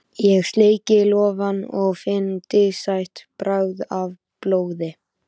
Ég sleiki lófana og finn dísætt bragðið af blóði.